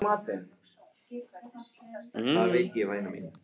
Valdimar sagði ekki orð og þögn hans var smitandi.